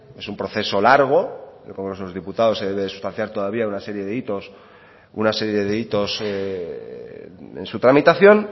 es un proceso largo el congreso de los diputados se debe sustanciar todavía una serie de hitos en su tramitación